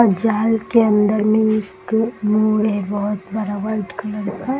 जल के अंदर एक बहुत बड़ा मेड है दिखने में।